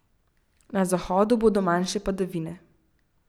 Na zahodu bodo manjše padavine.